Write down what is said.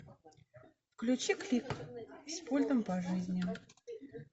включи клик с пультом по жизни